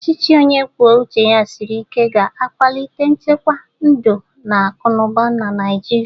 Ọchịchị onye kwuo uche ya siri ike ga-akwalite nchekwa ndụ na akụnụba na Naịjirịa.